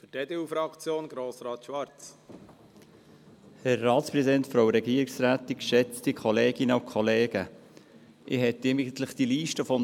Ich könnte die Liste, die Grossrat Thomas Knutti aufgezeigt hat, weiterführen.